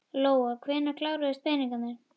Lóa: Hvenær kláruðust peningarnir?